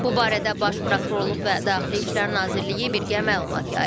Bu barədə baş prokurorluq və Daxili İşlər Nazirliyi birgə məlumat yayıb.